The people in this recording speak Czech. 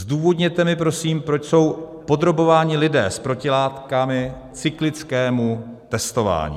Zdůvodněte mi prosím, proč jsou podrobováni lidé s protilátkami cyklickému testování.